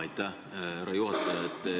Jaa, aitäh, härra juhataja!